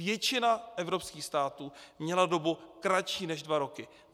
Většina evropských států měla dobu kratší než dva roky.